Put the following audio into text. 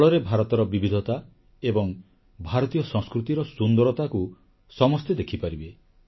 ଫଳରେ ଭାରତର ବିବିଧତା ଏବଂ ଭାରତୀୟ ସଂସ୍କୃତିର ସୁନ୍ଦରତାକୁ ସମସ୍ତେ ଦେଖିପାରିବେ